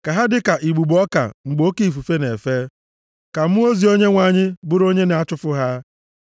Ka ha dịka igbugbo ọka mgbe oke ifufe na-efe, ka mmụọ ozi Onyenwe anyị bụrụ onye na-achụfu ha.